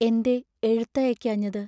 എന്തേ എഴുത്തയയ്ക്കാ ഞ്ഞത്?